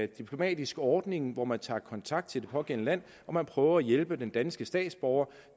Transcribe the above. diplomatisk ordning hvor man tager kontakt til det pågældende land og prøver at hjælpe den danske statsborger